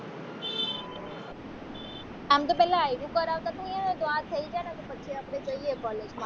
આમ તો પેલા આયરુ કરાવતા થયે ને તો આ થઈ જાય ને પછી આપણે જઈએ college